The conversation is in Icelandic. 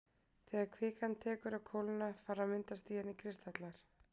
Þegar kvikan tekur að kólna fara að myndast í henni kristallar.